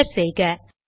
enter செய்க